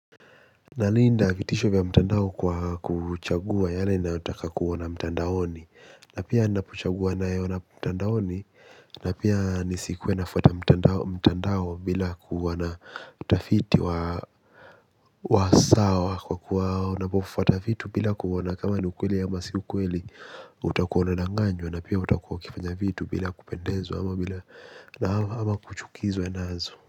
Nalinda vitisho vya mtandao kwa kuchagua yale nayotaka kuoana mtandaoni. Na pia napochagua nayaona mtandaoni. Na pia nisikuwe nafuata mtandao bila kuwa na utafiti wa sawa. Kwa kuwa unapofuata vitu bila kuoana kama ni ukweli ama si ukweli. Utakuwa unadanganywa na pia utakuwa ukifanya vitu bila kupendezwa ama kuchukizwa nazo.